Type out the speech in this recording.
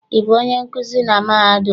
Ị bụ onye nkuzi na mahadum a?